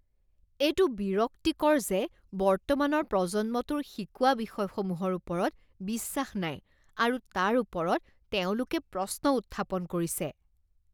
এইটো বিৰক্তিকৰ যে বৰ্তমানৰ প্ৰজন্মটোৰ শিকোৱা বিষয়সমূহৰ ওপৰত বিশ্বাস নাই আৰু তাৰ ওপৰত তেওঁলোকে প্ৰশ্ন উত্থাপন কৰিছে।